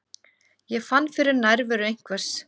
Ég fann fyrir nærveru einhvers.